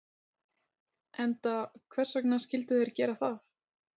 Enda hvers vegna skyldu þeir gera það?